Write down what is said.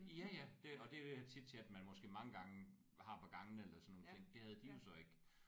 Ja ja det og det er jo den chitchat man måske mange gange har på gangene eller sådan nogle ting det havde de jo så ikke